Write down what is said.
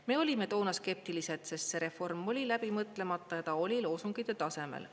Me olime toona skeptilised, sest see reform oli läbi mõtlemata ja ta oli loosungite tasemel.